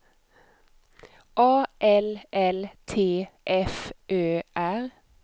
A L L T F Ö R